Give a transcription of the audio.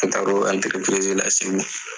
An taara o la segu yen.